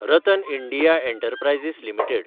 RattanIndia enterprises limited